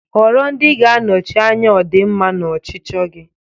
Họrọ ndị ga-anọchi anya ọdịmma na ọchịchọ gị.